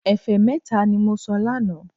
Ẹ̀fẹ́ mẹ́ta ní mo sọ lánàá